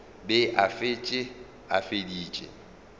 be a šetše a feditše